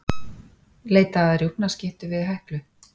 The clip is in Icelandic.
Leita að rjúpnaskyttu við Heklu